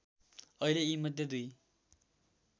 अहिले यीमध्ये दुई